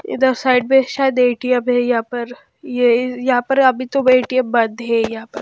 इधर साइड में शायद ए_टी_एम है यहां पर अभी या तो यहां पे ए_टी_एम बंद है इधर यहां पर।